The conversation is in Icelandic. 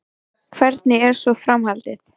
Hvernig er svo framhaldið?